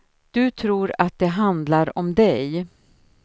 Du tror att det handlar om dig.